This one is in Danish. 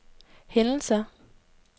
hændelser